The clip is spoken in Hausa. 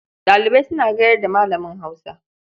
Ɗalibai suna gayar da Malamin Hausa.